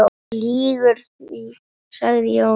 Þú lýgur því, sagði Jón.